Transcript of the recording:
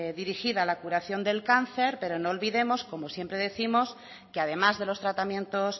dirigida a la curación del cáncer pero no olvidemos como siempre décimos que además de los tratamientos